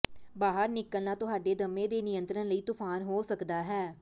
ਬਾਹਰ ਨਿਕਲਣਾ ਤੁਹਾਡੇ ਦਮੇ ਦੇ ਨਿਯੰਤਰਣ ਲਈ ਤੂਫ਼ਾਨ ਹੋ ਸਕਦਾ ਹੈ